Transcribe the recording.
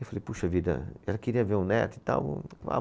E eu falei, puxa vida, ela queria ver o neto e tal.